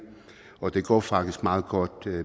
og det går faktisk meget godt